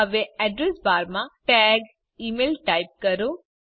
હવે Addressબાર માં ટૅગ ઇમેઇલ ટાઇપ કરો